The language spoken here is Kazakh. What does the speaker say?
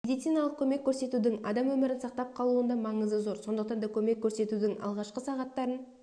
медициналық көмек көрсетудің адам өмірін сақтап қалуында маңызы зор сондықтан да көмек көрсетудің алғашқы сағаттарын